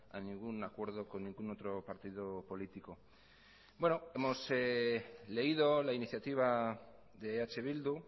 a ningún acuerdo con ningún otro partido político bueno hemos leído la iniciativa de eh bildu